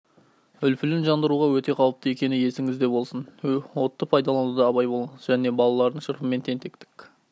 үлпілін жандыруға өте қауіпті екені есіңізде болсын отты пайдалануда абай болыңыз және балалардың шырпымен тентектік